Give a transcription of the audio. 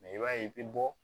i b'a ye i bɛ bɔ